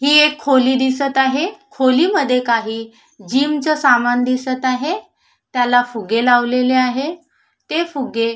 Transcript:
ही एक खोली दिसत आहे खोलीमध्ये काही जिम च सामान दिसत आहे त्याला फुगे लावलेले आहे ते फुगे--